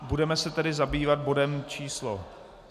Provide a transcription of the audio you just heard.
Budeme se tedy zabývat bodem číslo